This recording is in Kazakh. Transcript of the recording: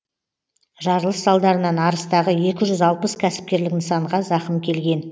жарылыс салдарынан арыстағы екі жүз алпыс кәсіпкерлік нысанға зақым келген